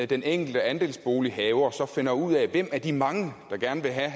den enkelte andelsbolighaver så finder ud af hvem af de mange der gerne vil have